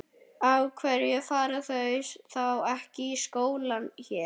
Af hverju fara þau þá ekki í skóla hér?